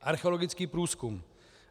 Archeologický průzkum.